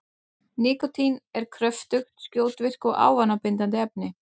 Nikótín er kröftugt, skjótvirkt og ávanabindandi efni.